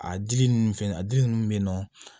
A dili ninnu fɛn a dili ninnu bɛ yen nɔ